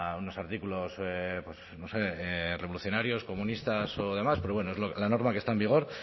unos artículos no sé revolucionarios comunistas o demás pero es la norma que está en vigor